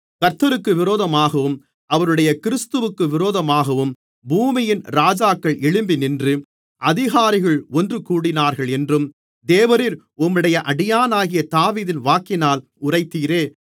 கர்த்தருக்கு விரோதமாகவும் அவருடைய கிறிஸ்துவுக்கு விரோதமாகவும் பூமியின் ராஜாக்கள் எழும்பிநின்று அதிகாரிகள் ஒன்றுகூடினார்கள் என்றும் தேவரீர் உம்முடைய அடியானாகிய தாவீதின் வாக்கினால் உரைத்தீரே